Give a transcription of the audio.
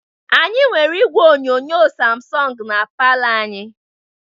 Anyị nwere igwe onyonyo samsọng na palor anyị.